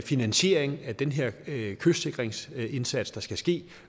finansiering af den her kystsikringsindsats der skal ske